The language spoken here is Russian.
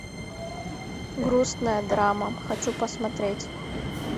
грустная драма хочу посмотреть